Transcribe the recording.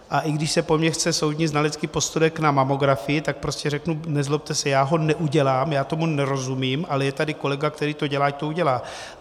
A i když se po mně chce soudní znalecký posudek na mamografii, tak prostě řeknu: nezlobte se, já ho neudělám, já tomu nerozumím, ale je tady kolega, který to dělá, ať to udělá.